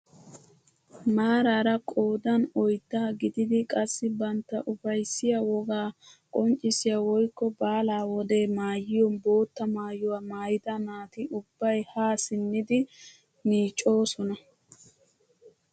Maarara qoodan oyddaa gididi qassi bantta ufayssiyaa wogaa qonccisiyaa woykko baalaa wode maayiyoo bootta maayuwaa maayida naati ubbay haa simmidi miiccoosona!